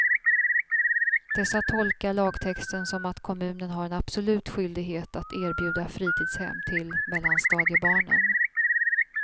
Dessa tolkar lagtexten som att kommunen har en absolut skyldighet att erbjuda fritidshem till mellanstadiebarnen.